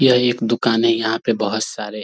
यह एक दुकान है यहाँ पे बहोत सारे --